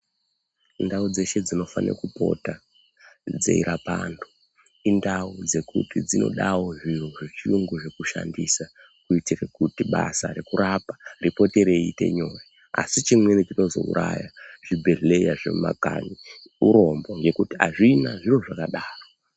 Ndau dzeshe dzinofane kupota dzeirapa antu, indau dzekuti dzinodawo zviro zvechiyungu zvokushandisa, kuitire kuti basa rekurapa ripote reiite nyore, asi chimweni chinozouraya zvibhedhleya zvemumakanyi urombo ,ngekuti azvina zviro zvakadaro.